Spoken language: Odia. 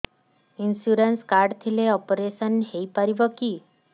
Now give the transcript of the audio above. ଇନ୍ସୁରାନ୍ସ କାର୍ଡ ଥିଲେ ଅପେରସନ ହେଇପାରିବ କି